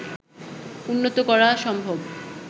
উন্নত করা সম্ভব